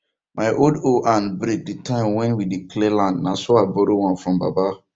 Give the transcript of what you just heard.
my old hoe hand break the time when we dey clear land na so i borrow one from baba